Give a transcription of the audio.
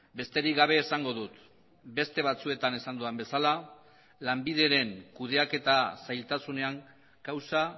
besterik gabe esango dut beste batzuetan esan dudan bezala lanbideren kudeaketa zailtasunean kausa